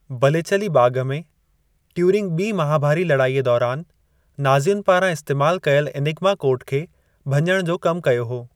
Bletchley बाग़ में, Turing ॿी महाभारी लड़ाईअ दौरान नाज़ियुनि पारां इस्तेमालु कयल एनिगमा कोड खे भञणु जो कमु कयो हो।